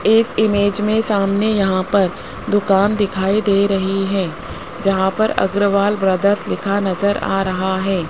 इस इमेज में सामने यहां पर दुकान दिखाई दे रही है जहां पर अग्रवाल ब्रदर्स लिखा नजर आ रहा है।